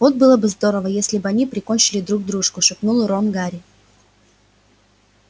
вот было бы здорово если бы они прикончили друг дружку шепнул рон гарри